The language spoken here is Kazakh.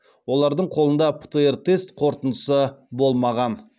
олардың қолында птр тест қорытындысы болмаған